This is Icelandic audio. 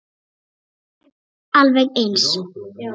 Hann hrökk við og gapti.